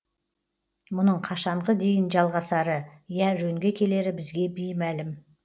мұның қашанғы дейін жалғасары я жөнге келері бізге беймәлім